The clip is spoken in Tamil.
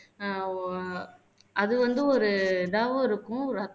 ஆஹ் அது வந்து ஒரு இதாவும் இருக்கும்